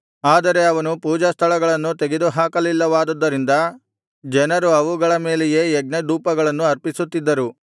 ಆದರೆ ಅವನು ಪೂಜಾಸ್ಥಳಗಳನ್ನು ತೆಗೆದುಹಾಕಲಿಲ್ಲವಾದುದರಿಂದ ಜನರು ಅವುಗಳ ಮೇಲೆಯೇ ಯಜ್ಞಧೂಪಗಳನ್ನು ಅರ್ಪಿಸುತ್ತಿದ್ದರು